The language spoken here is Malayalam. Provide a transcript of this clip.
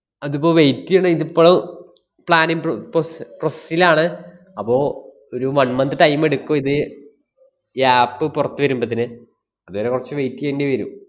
അതിപ്പോ wait ചെയ്യണം. ഇതിപ്പളും planning pro~ proce~ process ലാണ്. അപ്പോ ഒരു one month time ഇടുക്കും ഇത് ഈ app പൊറത്ത് വരുമ്പത്തേന്. അതുവരെ കൊറച്ച് wait ചെയ്യേണ്ടി വരും.